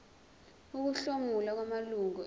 ukuhlomula kwamalungu ebhodi